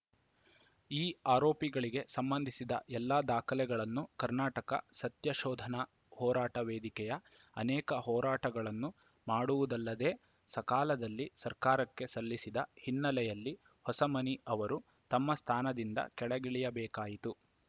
ಈ ಆರೋಪಗಳಿಗೆ ಸಂಬಂಧಿಸಿದ ಎಲ್ಲ ದಾಖಲೆಗಳನ್ನು ಕರ್ನಾಟಕ ಸತ್ಯ ಶೋಧನಾ ಹೋರಾಟ ವೇದಿಕೆಯು ಅನೇಕ ಹೋರಾಟಗಳನ್ನು ಮಾಡುವುದಲ್ಲದೇ ಸಕಾಲದಲ್ಲಿ ಸರ್ಕಾರಕ್ಕೆ ಸಲ್ಲಿಸಿದ ಹಿನ್ನೆಲೆಯಲ್ಲಿ ಹೊಸಮನಿ ಅವರು ತಮ್ಮ ಸ್ಥಾನದಿಂದ ಕೆಳಗಿಳಿಯಬೇಕಾಯಿತು